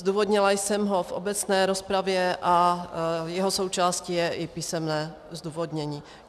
Zdůvodnila jsem ho v obecné rozpravě a jeho součástí je i písemné zdůvodnění.